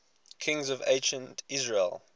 kings of ancient israel